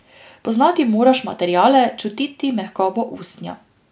Poznati moraš materiale, čutiti mehkobo usnja.